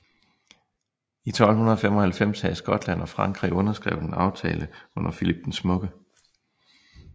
I 1295 havde Skotland og Frankrig underskrevet en aftale under Philip den Smukke